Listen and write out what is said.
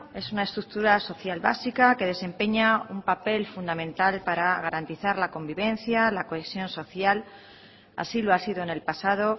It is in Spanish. es una estructura social básica que desempeña un papel fundamental para garantizar la convivencia la cohesión social así lo ha sido en el pasado